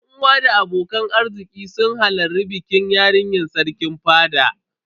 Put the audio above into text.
Yan uwa da abokan arziki sun hallari bikin yarinyar Sarkin fada.